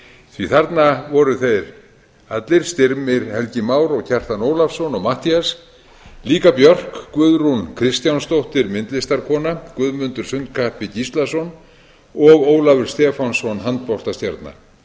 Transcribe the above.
því þarna voru þeir allir styrmir helgi már kjartan ólafsson og matthías líka björk guðrún kristjánsdóttir myndlistarkona guðmundur sundkappi gíslason og ólafur stefánsson